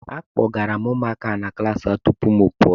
Akpọgara m ụmụaka ahụ na klassi ha tupu mụ apụọ.